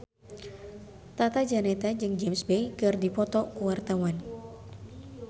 Tata Janeta jeung James Bay keur dipoto ku wartawan